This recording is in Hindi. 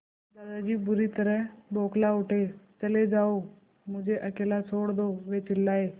दादाजी बुरी तरह बौखला उठे चले जाओ मुझे अकेला छोड़ दो वे चिल्लाए